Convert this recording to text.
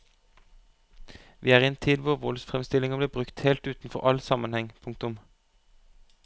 Vi er i en tid hvor voldsfremstillinger blir brukt helt utenfor all sammenheng. punktum